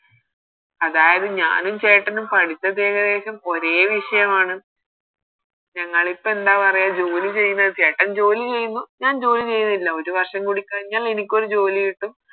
അതായത് ഞാനും ചേട്ടനും പഠിച്ചത് ഏകദേശം ഒരേ വിഷയമാണ് ഞങ്ങളിപ്പോ എന്താ പറയാ ജോലി ചെയ്യുന്നത് ചേട്ടൻ ജോലി ചെയ്യുന്നു ഞാൻ ജോലി ചെയ്യുന്നില്ല ഒരു വർഷം കൂടി കഴിഞ്ഞാൽ എനിക്കൊരു ജോലി കിട്ടും